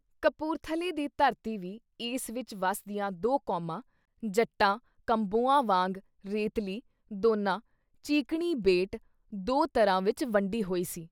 ਕਪੂਰਥਲੇ ਦੀ ਧਰਤੀ ਵੀ ਇਸ ਵਿੱਚ ਵਸਦੀਆਂ ਦੋਂ ਕੌਮਾਂ- ਜੱਟਾਂ-ਕੰਬੋਆਂ ਵਾਂਗ ਰੇਤਲੀ(ਦੋਨਾ) ਚੀਕਣੀ(ਬੇਟ) ਦੋ ਤਰ੍ਹਾਂ ਵਿੱਚ ਵੰਡੀ ਹੋਈ ਸੀ।